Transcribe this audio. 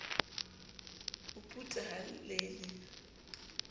o puta ha le le